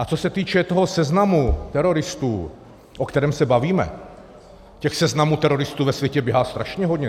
A co se týče toho seznamu teroristů, o kterém se bavíme, těch seznamů teroristů ve světě běhá strašně hodně.